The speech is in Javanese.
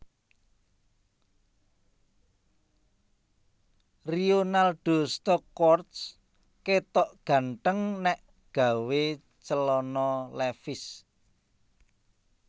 Rionaldo Stockhorst ketok ganteng nek gawe celana levis